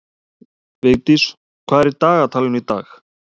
Vigdís, hvað er í dagatalinu í dag?